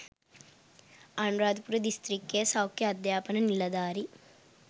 අනුරාධපුර දිස්ත්‍රික්කයේ සෞඛ්‍ය අධ්‍යාපන නිලධාරි